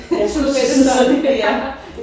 Ja sådan ja